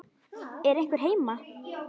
Er einhver heima?